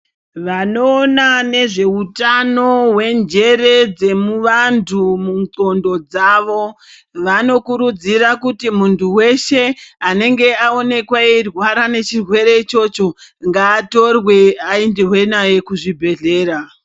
Vano ona nezve utano hwe njere dze vantu mu ndxondo dzavo vano kurudzira kuti muntu weshe anenge aonekwe eyi rware ne chirwere ichocho ngaa torwe ayendwe naye ku zvibhedhlera.